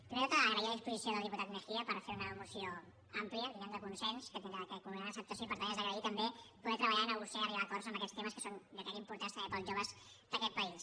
primer de tot agrair la disposició del diputat mejía per fer una moció àmplia diguem ne de consens que tindrà crec una gran acceptació i per tant és d’agrair també poder treballar i negociar i arribar a acords en aquests temes que són jo crec que importants també per als joves d’aquest país